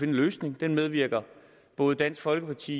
en løsning og det medvirker både dansk folkeparti